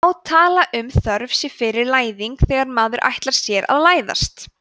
má tala um þörf sé fyrir læðing þegar maður ætlar sér að læðast